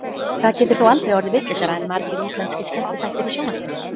Það getur þó aldrei orðið vitlausara en margir útlenskir skemmtiþættir í sjónvarpinu.